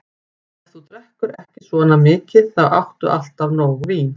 Ef þú drekkur ekki svona mikið, þá áttu alltaf nóg vín.